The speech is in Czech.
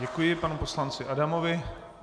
Děkuji panu poslanci Adamovi.